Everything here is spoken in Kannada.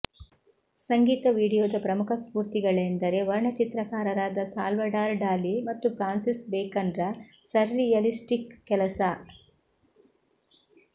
ಸಂಗೀತ ವೀಡಿಯೋದ ಪ್ರಮುಖ ಸ್ಫೂರ್ತಿಗಳೆಂದರೆ ವರ್ಣಚಿತ್ರಕಾರರಾದ ಸಾಲ್ವಡಾರ್ ಡಾಲಿ ಮತ್ತು ಫ್ರಾನ್ಸಿಸ್ ಬೇಕನ್ರ ಸರ್ರಿಯಲಿಸ್ಟಿಕ್ ಕೆಲಸ